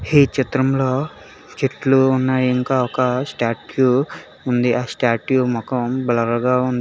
ఈ చిత్రంలో చెట్లు ఉన్నాయి ఇంకా ఒక స్టాట్యూ ఉంది ఆ స్టాట్యూ మొఖం బ్లర్ గా ఉంది.